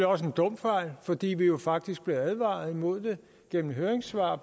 også en dum fejl fordi vi jo faktisk blev advaret imod den gennem høringssvar